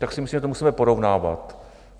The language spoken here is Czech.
Tak si myslím, že to musíme porovnávat.